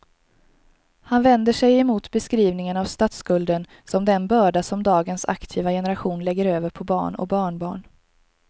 Han vänder sig emot beskrivningen av statsskulden som den börda som dagens aktiva generation lägger över på barn och barnbarn.